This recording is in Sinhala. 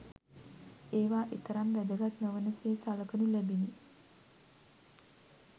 ඒවා එතරම් වැදගත් නොවන සේ සලකනු ලැබිනි.